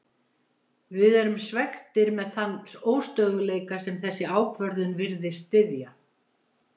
Við erum svekktir með þann óstöðugleika sem þessi ákvörðun virðist styðja.